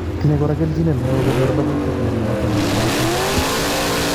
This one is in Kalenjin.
Tinye kora keljinet neo konyor lobutik, miondo noton nebo magatet